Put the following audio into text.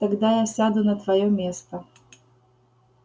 тогда я сяду на твоё место